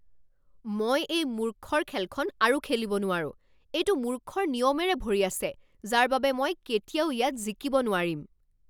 মই এই মূৰ্খৰ খেলখন আৰু খেলিব নোৱাৰো। এইটো মূৰ্খৰ নিয়মেৰে ভৰি আছে যাৰ বাবে মই কেতিয়াও ইয়াত জিকিব নোৱাৰিম।